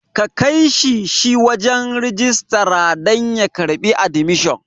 Kakaishi shi wajan rijistara dan ya karɓi admission